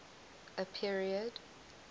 a period